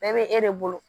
Bɛɛ bɛ e de bolo